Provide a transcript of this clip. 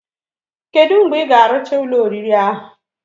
Kedu mgbe ig arucha Ụlọ oriri ahu?